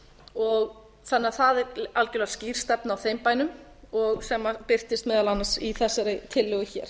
þannig að það er algjörlega skýr stefna á þeim bænum sem birtist meðal annars í þessari tillögu hér